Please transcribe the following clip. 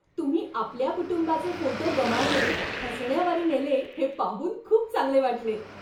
तुम्ही आपल्या कुटुंबाचे फोटो गमावणे हसण्यावारी नेले हे पाहून खूप चांगले वाटले.